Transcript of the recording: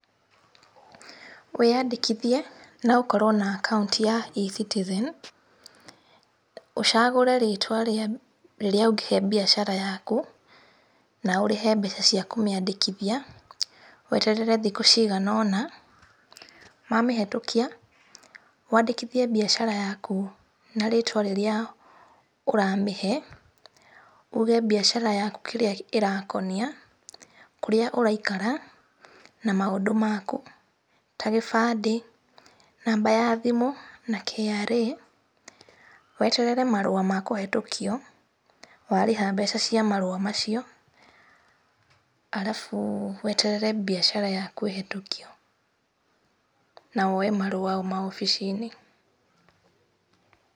Wĩyadĩkithie, na ŭkorwo na akaŭnti ya ecitizen, ŭcagŭre rĩĩtwa rĩrĩa ŭngĩhe biacara yakŭ, na ŭrĩhe mbeca cia kŭmiandĩkithia, weterere thikŭ cigana ona, mamĩhetŭkia, wadĩkithie biacara yaku, na rĩtwa rĩrĩa ŭramĩhe, uge biacara yakŭ kĩrĩa ĩredia, kŭrĩa ŭraikara na maŭndŭ makŭ ta gĩbadĩ, namba ya thimŭ, na KRA, weterere marŭa ma kŭhetŭkio, warĩha mbeca cia marŭa macio, arabŭ weterere biacara yakŭ ihetŭkio na woe marũa mau wabici-inĩ.